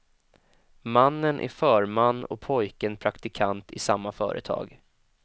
Mannen är förman och pojken praktikant i samma företag.